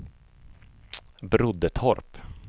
Broddetorp